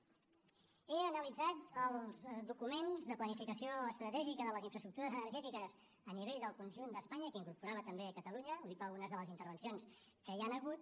he analitzat els documents de planificació estratègica de les infraestructures energètiques a nivell del conjunt d’espanya que incorporava també catalunya ho dic per algunes de les intervencions que hi han hagut